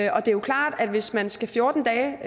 og det er klart at hvis man skal fjorten dage